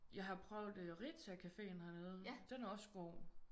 Jeg har prøvet Rita cafeen hernede. Den er også god